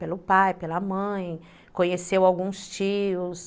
Pelo pai, pela mãe, conheceu alguns tios...